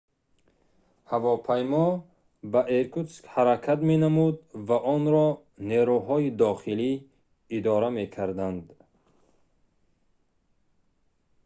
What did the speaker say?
ҳавопаймо ба иркутск ҳаракат менамуд ва онро нерӯҳои дохилӣ идора мекарданд